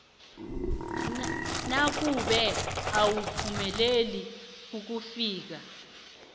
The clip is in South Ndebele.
nakube awuphumeleli ukufika